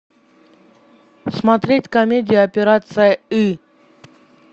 смотреть комедия операция ы